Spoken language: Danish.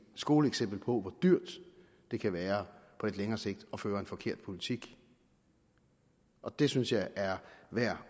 skoleeksempel på hvor dyrt det kan være på lidt længere sigt at føre en forkert politik og det synes jeg er værd